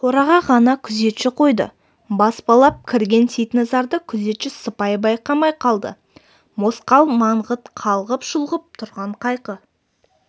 қораға ғана күзетші қойды баспалап кірген сейтназарды күзетші сыпай байқамай қалды мосқал маңғыт қалғып-шұлғып тұрған қайқы